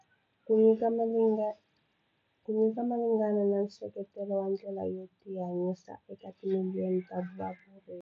Ku nyika malinghena na nseketelo wa ndlela yo tihanyisa eka timiliyoni ta vavuyeriwa.